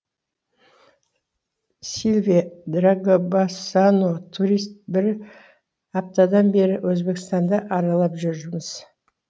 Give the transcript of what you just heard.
сильвия драгобасано турист бір аптадан бері өзбекстанды аралап жүрміз